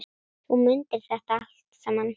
Þú mundir þetta allt saman.